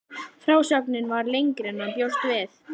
Frásögnin varð lengri en hann bjóst við.